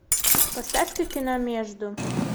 поставь ка кино между